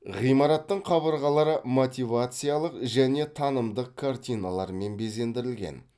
ғимараттың қабырғалары мотивациялық және танымдық картиналармен безендірілген